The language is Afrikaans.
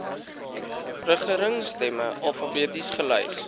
regeringsterme alfabeties gelys